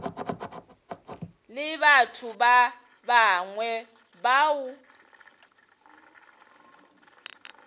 le batho ba bangwe bao